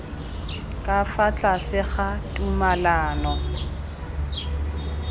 ka fa tlase ga tumalano